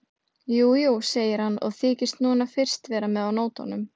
Jú, jú, segir hann og þykist núna fyrst vera með á nótunum.